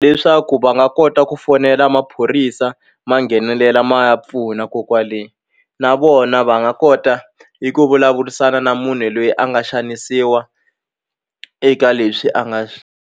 Leswaku va nga kota ku fonela maphorisa ma nghenelela ma ya pfuna ko kwale na vona va nga kota eku vulavurisana na munhu loyi a nga xanisiwa eka leswi a nga .